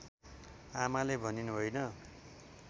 आमाले भनिन् होइन